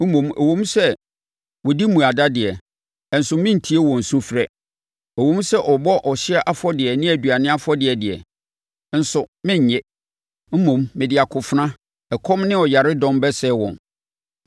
Mmom ɛwom sɛ wɔdi mmuada deɛ, nso merentie wɔn sufrɛ; ɛwom sɛ wɔbɔ ɔhyeɛ afɔdeɛ ne aduane afɔdeɛ deɛ, nso merennye. Mmom, mede akofena ɛkɔm ne ɔyaredɔm bɛsɛe wɔn.”